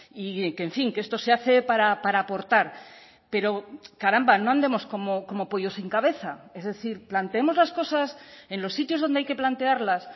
y que en fin que esto se hace para aportar pero caramba no andemos como pollo sin cabeza es decir planteemos las cosas en los sitios donde hay que plantearlas